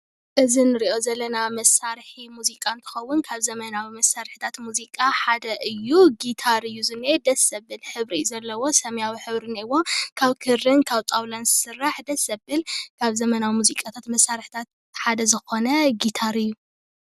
እዚ እንርኦ ዘለና መሳሪሒ ሙዚቃ እንትኸውን ካብ ዘመናዊ መሳርሒ ሙዚቃ ሓደ እዩ። ጊታር እዩ ዝነኤ ደስ ዝብል ሕብሪ እዩ ዝነኤዎ ሰሚያዊ ሕብሪ እኔአዎ ካብ ክርን ካብ ጣውላን ዝስራሕ ደስ ዝብል ካብ ዘመናዊ መሳርሒትታት ሙዚቃ ሓደ ዝኾነ ጊታር እዩ።